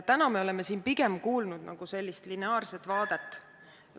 Täna oleme siin kuulnud pigem sellist lineaarset vaadet ...